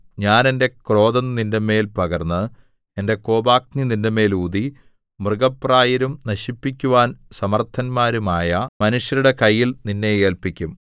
ഞാൻ എന്റെ ക്രോധം നിന്റെമേൽ പകർന്ന് എന്റെ കോപാഗ്നി നിന്റെമേൽ ഊതി മൃഗപ്രായരും നശിപ്പിക്കുവാൻ സമർത്ഥന്മാരുമായ മനുഷ്യരുടെ കയ്യിൽ നിന്നെ ഏല്പിക്കും